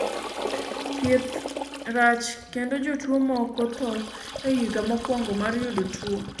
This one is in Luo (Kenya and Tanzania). thieth rach kendo jotuo moko tho e higa mokwongo mar yudo tuo